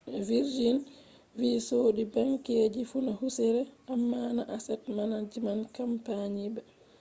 virginvi sodi ‘banki’ je funa husire amma na asset management campani ba